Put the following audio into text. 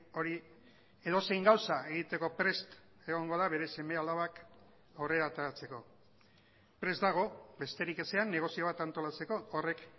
hori edozein gauza egiteko prest egongo da bere seme alabak aurrera ateratzeko prest dago besterik ezean negozio bat antolatzeko horrek